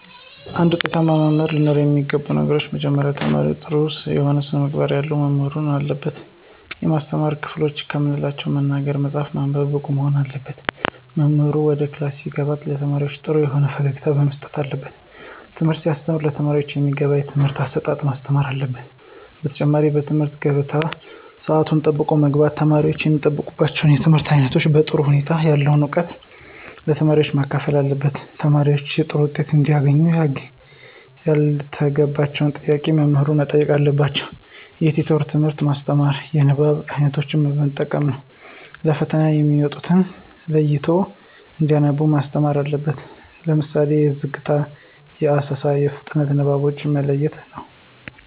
አንድ ውጤታማ መምህር ለኖረው የሚገባው ነገር መጀመሪያ ለተማሪዎች ጥሩ የሆነ ስነምግባር ያለው መምህር መሆን አለበት። የማስተማር ክህሎትን ከምንላቸው መናገር፣ መፃፍ፣ ማንበብ ብቁ መሆን አለበት። መምህሩ ወደ ክላስ ሲገባ ለተማሪዎች ጥሩ የሆነ ፈገግታ መስጠት አለበት። ትምህርት ሲያስተም ለተማሪዎቹ በሚገባቸው የትምህርት አሰጣጥ ማስተማር አለበት። በተጨማሪ በትምህርት ገበታው ሰአቱን ጠብቆ በመግባት ተማሪወች የሚጠበቅባቸውን የትምህርት አይነት በጥሩ ሁኔታ ያለውን እውቀት ለተማሪዎች ማካፈል አለበት። ተማሪዎች ጥሩ ዉጤት እንዲያገኙ ያልገባቸውን ጥያቄ መምህሩ መጠየቅ ነዉ። የቲቶሪያል ትምህርት ማስተማር። የንባብ አይነቶችን መጠቀም ነው። ለፈተና የሚመጡትን ለይቶ እንዲያነቡ ማስተማር አለበት። ለምሳሌ የዝግታ፣ የአሰሳ፣ የፍጥነት ንባቦችን መለየት ነው።